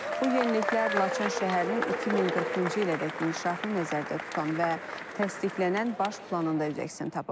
Bu yeniliklər Laçın şəhərinin 2040-cı ilədək inkişafını nəzərdə tutan və təsdiqlənən baş planında öz əksini tapıb.